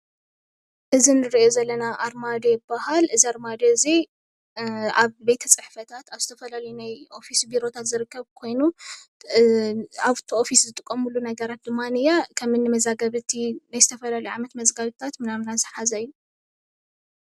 እዚ ንርእዮ ዘለና ኣርማድዮ ይባሃል። እዚ ኣርማድዮ እዚ ኣብ ቤተ ፅሕፈታት ኣብ ዝተፈላለዩ ናይ ኦፊስ ቢሮታት ዝርከብ ኮይኑ ኣፍቲ ኦፊስ ዝጥቀምሉ ነገራት ድማኒየ፦ ከምኒ መዛግብቲ ናይ ዝተፈላለዩ ዓመት መዛግብታት ምናምናት ዝሓዘ እዩ።